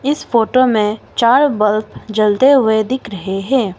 इस फोटो में चार बल्ब जलते हुए दिख रहे हैं।